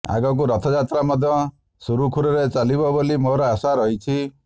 ଆଗକୁ ରଥଯାତ୍ରା ମଧ୍ୟ ସୁରୁଖୁରୁରେ ଚାଲିବ ବୋଲି ମୋର ଆଶା ରହିଛି